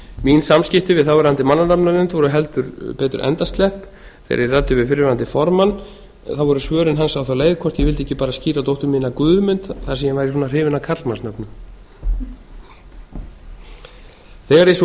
mín samskipti við þáverandi mannanafnanefnd voru heldur betur endaslepp þegar ég ræddi við fyrrverandi formann voru svörin hans á þá leið hvort ég vildi ekki bara skíra dóttur mína guðmund þar sem ég væri svona hrifin af karlmannsnöfnum þegar ég svo